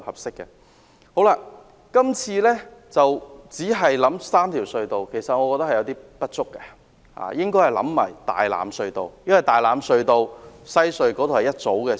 政府今次只考慮3條隧道，我覺得有些不足，應要考慮大欖隧道，因為大欖隧道與西隧組成一條線。